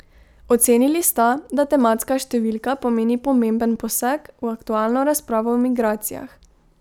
Ocenili sta, da tematska številka pomeni pomemben poseg v aktualno razpravo o migracijah.